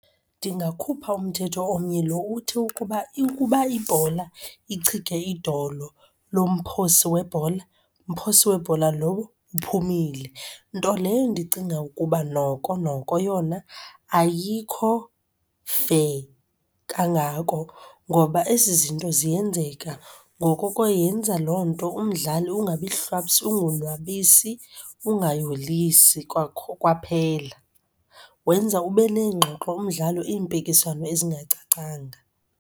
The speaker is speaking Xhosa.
Ndingakhupha umthetho omnye lo uthi ukuba ikuba ibhola ichige idolo lomphosi webhola, mphosi webhola lowo uphumile nto leyo ndicinga ukuba noko noko yona ayikho-fair kangako ngoba ezi zinto ziyenzeka. Ngoko ke yenza loo nto umdlali ungabi hlwaps, ungonwabisi ungayolisi kwaphela. Wenza ube neengxoxo umdlalo iimpikiswano ezingacacanga.